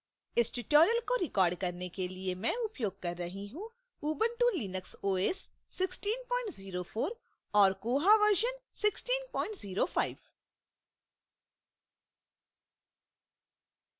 इस tutorial को record करने के लिए मैं उपयोग कर रही हूँ